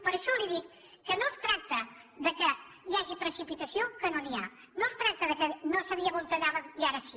per això li dic que no es tracta que hi hagi precipitació que no n’hi ha no es tracta que no sabíem on anàvem i ara sí